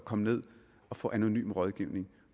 komme ned og få anonym rådgivning